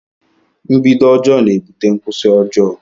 A bad begining makes a bad ending.